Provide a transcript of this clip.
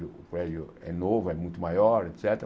O prédio é novo, é muito maior, et cétera.